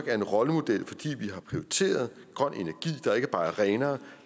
er en rollemodel fordi vi har prioriteret grøn energi der ikke bare er renere